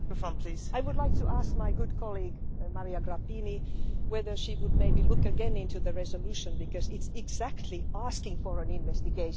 I would like to ask my good colleague, Maria Grapini, whether she would look into the resolution again, because it's precisely asking for an investigation.